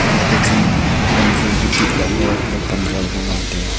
nok phai chi ma wanzu bu tit lah ley ang ley pan zua bu ngan tai a.